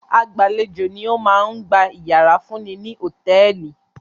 Agbàlejò ni ó máa ń gba ìyàrá fún ni ní hòtẹ́ẹ́lì.